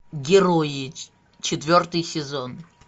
герои четвертый сезон